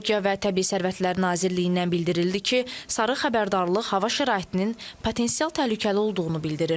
Ekologiya və Təbii Sərvətlər Nazirliyindən bildirildi ki, sarı xəbərdarlıq hava şəraitinin potensial təhlükəli olduğunu bildirir.